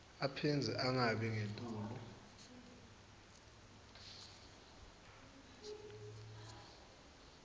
aphindze angabi ngetulu